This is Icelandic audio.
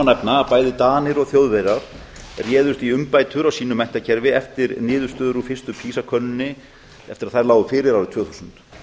nefna að bæði danir og þjóðverjar réðust í umbætur á sínu menntakerfi eftir niðurstöður úr fyrstu pisa könnuninni eftir að þær lágu fyrir árið tvö þúsund